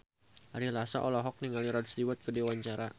Ari Lasso olohok ningali Rod Stewart keur diwawancara